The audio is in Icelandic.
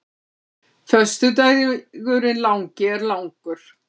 Föstudagurinn langi er langur.